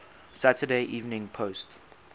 saturday evening post